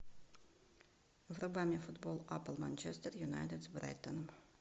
врубай мне футбол апл манчестер юнайтед с брайтоном